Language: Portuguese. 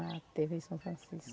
Na tê vê São Francisco.